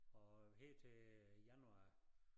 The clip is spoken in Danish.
Og her til januar